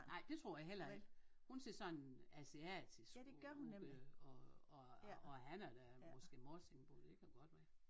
Nej det tror jeg heller ikke hun ser sådan asiatisk ud og og han er da måske morsingbo det kan godt være